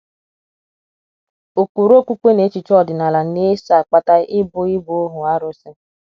Ụkpụrụ okpukpe na echiche ọdịnala na - eso akpata ịbụ ịbụ ohu arụsị.